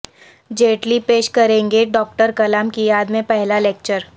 جیٹلی پیش کریں گے ڈاکٹر کلام کی یاد میں پہلا لکچر